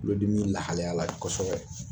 Kulodimi lahalayala bi kosɛbɛ